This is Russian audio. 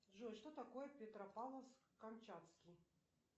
джой что такое петропавловск камчатский